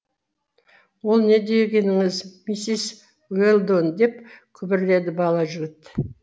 ол не дегеніңіз миссис уэлдон деп күбірледі бала жігіт